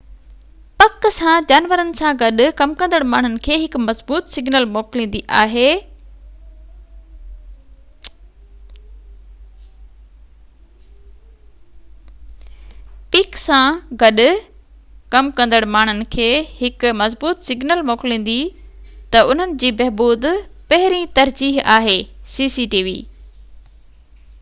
cctv پڪ سان جانورن سان گڏ ڪم ڪندڙ ماڻهن کي هڪ مضبوط سگنل موڪليندي تہ انهن جي بهبود پهرين ترجيح آهي